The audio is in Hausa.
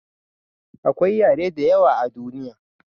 akwai yare da yawa a duniya